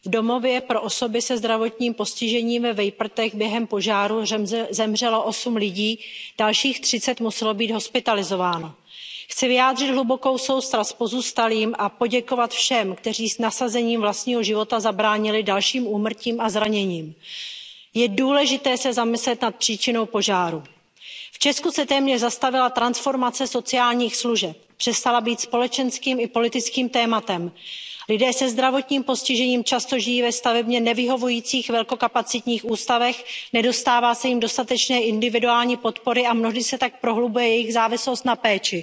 Paní předsedající, v neděli 16. ledna došlo v Česku k obrovské tragédii. V domově pro osoby se zdravotním postižením ve Vejprtech během požáru zemřelo osm lidí, dalších třicet muselo být hospitalizováno. Chci vyjádřit hlubokou soustrast pozůstalým a poděkovat všem, kteří s nasazením vlastního života zabránili dalším úmrtím a zraněním. Je důležité se zamyslet nad příčinou požáru. V Česku se téměř zastavila transformace sociálních služeb. Přestala být společenským i politickým tématem. Lidé se zdravotním postižením často žijí ve stavebně nevyhovujících velkokapacitních ústavech, nedostává se jim dostatečné individuální podpory a mnohdy se tak prohlubuje jejich závislost na